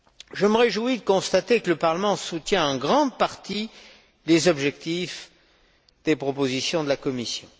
Je me réjouis de constater que le Parlement soutient en grande partie les objectifs des propositions de la Commission.